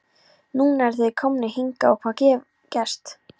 Núna eru þeir komnir hingað og hvað hefur gerst?